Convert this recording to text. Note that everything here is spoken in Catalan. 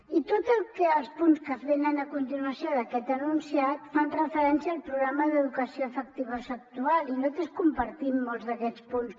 i tots els punts que venen a continuació d’aquest enunciat fan referència al programa d’educació afectivosexual i nosaltres compartim molts d’aquests punts